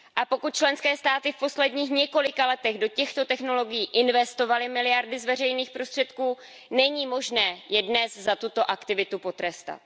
Pokud členské státy v posledních několika letech do těchto technologií investovaly miliardy z veřejných prostředků, není možné je dnes za tuto aktivitu potrestat.